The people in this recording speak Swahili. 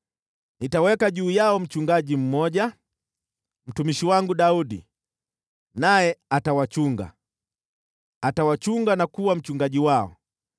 Nitaweka juu yao mchungaji mmoja, mtumishi wangu Daudi, naye atawachunga, atawachunga na kuwa mchungaji wao.